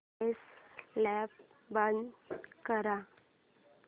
set top box बंद कर